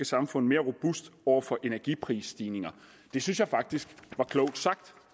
samfund mere robust over for energiprisstigninger det synes jeg faktisk var klogt sagt